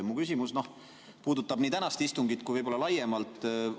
Mu küsimus puudutab nii tänast istungit kui ka võib-olla laiemalt.